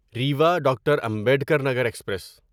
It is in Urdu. Rewa doctor Ambedkar Nagar express